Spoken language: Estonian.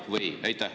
Jah või ei?